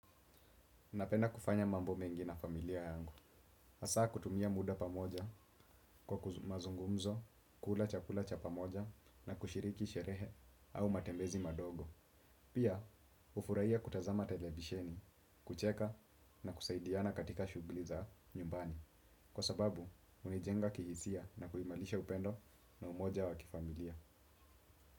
Napenda kufanya mambo mengi na familia yangu. Hasa kutumia muda pamoja kwa mazungumzo, kula chakula cha pamoja na kushiriki sherehe au matembezi madogo. Pia, hufurahia kutazama televisheni, kucheka na kusaidiana katika shughuli za nyumbani. Kwa sababu, hunijenga kihisia na kuimarisha upendo na umoja wa kifamilia.